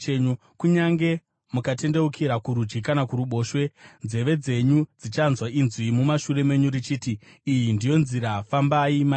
Kunyange mukatendeukira kurudyi kana kuruboshwe, nzeve dzenyu dzichanzwa inzwi mumashure menyu, richiti, “Iyi ndiyo nzira, fambai mairi.”